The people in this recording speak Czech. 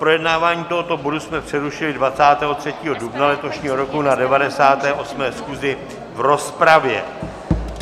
Projednávání tohoto bodu jsme přerušili 23. dubna letošního roku na 98. schůzi v rozpravě.